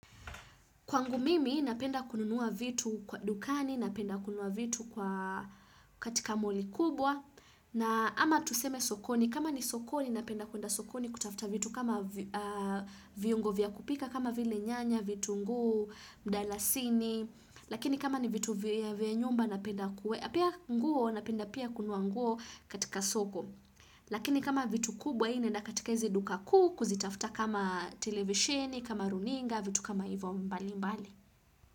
Kwangu mimi napenda kununuwa vitu kwa dukani, napenda kununuwa vitu kwa katika moli kubwa. Na ama tuseme sokoni, kama ni sokoni napenda kwenda sokoni kutafuta vitu kama viungo vya kupika, kama vile nyanya, vitunguu, mdalasini. Lakini kama ni vitu vya nyumba napenda kuwe. Pia nguo napenda pia kununua nguo katika soko. Lakini kama vitu kubwa naenda katika izi duka kuu Kuzitafuta kama televisheni, kama runinga, vitu kama ivo mbali mbali.